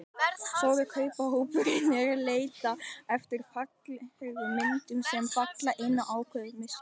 Stóri kaupendahópurinn er að leita eftir fallegum myndum, sem falla inn í ákveðið mynstur.